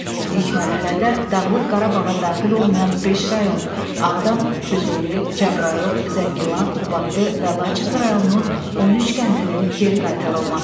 İlk mərhələdə Dağlıq Qarabağa daxil olmayan beş rayon, Ağdam, Füzuli, Cəbrayıl, Zəngilan, Qubadlı və Laçın rayonunun 13 kəndinin geri qaytarılması.